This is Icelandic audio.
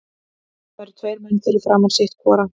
Það eru tveir menn fyrir framan sitt hvora.